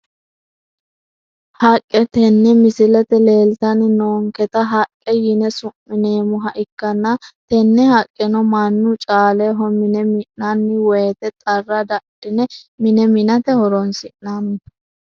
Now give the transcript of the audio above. Haqqe tene misilete leeltani noonketa haqqe yine su`mineemoha ikanna tenehaqqeno manu caaleho mine mininani woyiite xarra dadhine mine minate horonsinani.